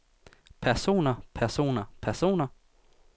personer personer personer